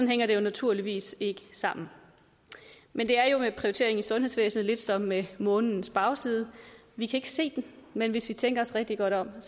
hænger det jo naturligvis ikke sammen men det er jo med prioritering i sundhedsvæsenet lidt som med månens bagside vi kan ikke se den men hvis vi tænker os rigtig godt om